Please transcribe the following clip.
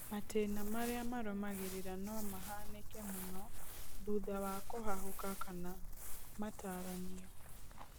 Matĩna marĩa marũmagĩrĩra no mahanĩke mũno thutha wa kũhahũka kana matarania